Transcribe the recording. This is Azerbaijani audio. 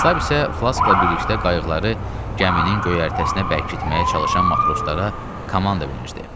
Stab isə flasqla birlikdə qayıqları gəminin göyərtəsinə bərkitməyə çalışan matroslara komanda verirdi.